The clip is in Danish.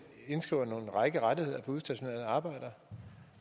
indskriver en række rettigheder for udstationerede arbejdere